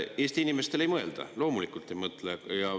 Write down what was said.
Eesti inimestele ei mõelda, loomulikult te ei mõtle.